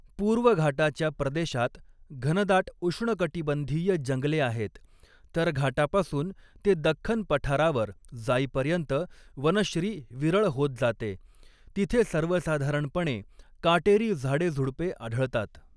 पूर्व घाटाच्या प्रदेशात घनदाट उष्णकटिबंधीय जंगले आहेत, तर घाटापासून ते दख्खन पठारावर जाईपर्यंत वनश्री विरळ होत जाते, तिथे सर्वसाधारणपणे काटेरी झाडेझुडपे आढळतात.